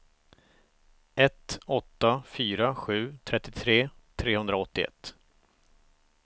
ett åtta fyra sju trettiotre trehundraåttioett